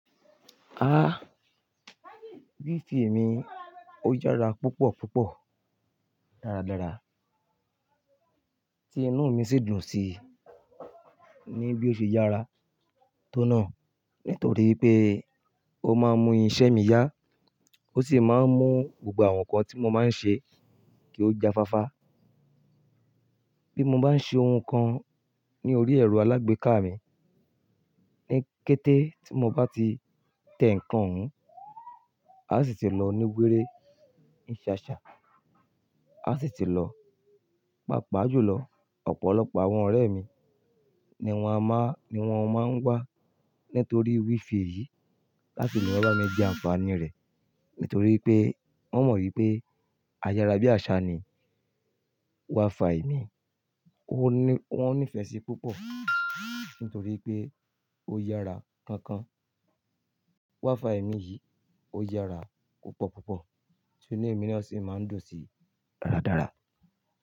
Ah, Wi-Fi mi ó yára púpọ̀ púpọ̀ dáradára, tí inú mi sì dùn sí i ní bí ó ṣe yára tó náà nítorí pé ó máa ń mú iṣẹ́ mi yá ó sì máa ń mú gbogbo àwọn nǹkan tí mo máa ń ṣe kí ó jafáfá. Bí mo bá ń ṣe ohun kan ní orí ẹ̀rọ alágbèéká mi, ní kété tí mo bá ti tẹ ǹkan ún, á sì ti lọ ní wéré ni ṣaṣa, á sì ti lọ, pàápàá jùlọ ọ̀pọ̀lọpọ̀ àwọn ọ̀rẹ́ mi ni wọ́n má ń wá nítorí Wi-Fi yìí láti lè wá bá mi jẹ àǹfààní rẹ̀. Nítorí pé wọ́n mọ̀ wípé ayára bí àsá ni Wi-Fi mi, wọ́n ní ìfẹ́ sí i púpọ̀ nítorí pé ó yára kankan. Wi-Fi mi yìí ó yára púpọ̀ púpọ̀, ti inú èmi na sì máa ń dùn sí i dáradára.